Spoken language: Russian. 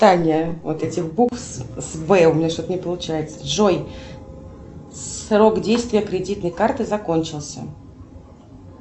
джой срок действия кредитной карты закончился